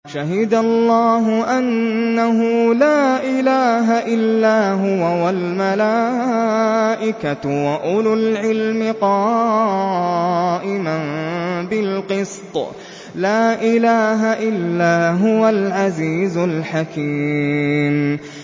شَهِدَ اللَّهُ أَنَّهُ لَا إِلَٰهَ إِلَّا هُوَ وَالْمَلَائِكَةُ وَأُولُو الْعِلْمِ قَائِمًا بِالْقِسْطِ ۚ لَا إِلَٰهَ إِلَّا هُوَ الْعَزِيزُ الْحَكِيمُ